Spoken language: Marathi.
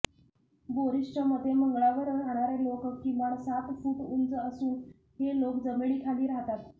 बोरिसच्या मते मंगळावर राहणारे लोक किमान सात फुट उंच असून हे लोक जमिनीखाली राहतात